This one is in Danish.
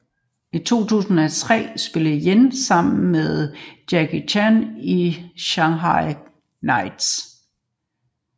I 2003 spillede Yen sammen med Jackie Chan i Shanghai Knights